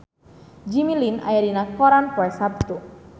Jimmy Lin aya dina koran poe Saptu